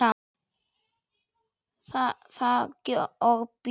Það og bjór.